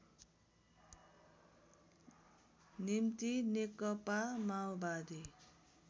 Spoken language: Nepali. निम्ति नेकपा माओवादी